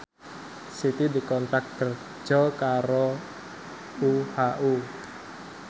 Siti dikontrak kerja karo UHU